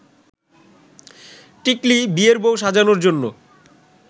টিকলী বিয়ের বউ সাজানোর জন্য